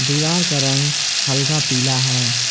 दीवार का रंग हल्का पीला है।